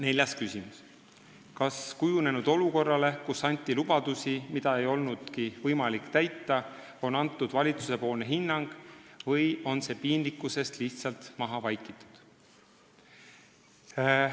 Neljas küsimus: "Kas kujunenud olukorrale, kus anti lubadusi, mida ei olnudki võimalik täita, on antud valitsusepoolne hinnang või on see piinlikkusest lihtsalt maha vaikitud?